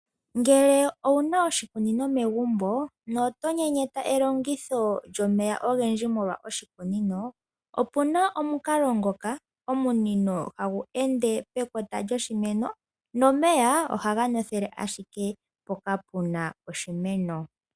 Ngele owu na oshikunino megumbo noto nyenyeta elongitho lyomeya ogendji molwa oshikunino, opu na omukalo ngoka omunino hagu ende pekota lyoshimeno, nomeya ohaga nothele ashike mpoka pu na oshimeno.